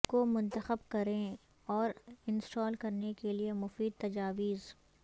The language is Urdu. کو منتخب کریں اور انسٹال کرنے کے لئے مفید تجاویز